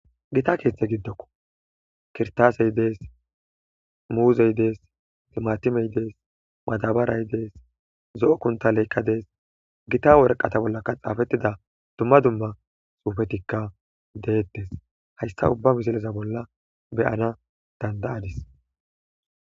Gita keeththa gidokko kirtaase des,muuze des, timatime des, madabaray des,zo7o kuntaleka des gita waraqata boolaka xaafetida dumma dumma xuufetika de7etees. Hayssa ubappe bolla be7ana danda7adis.